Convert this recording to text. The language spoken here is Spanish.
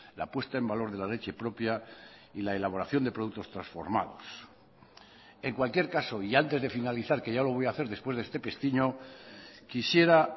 la puesta en valor de la leche propia y la elaboración de productos transformados en cualquier caso y antes de finalizar que ya lo voy a hacer después de este pestiño quisiera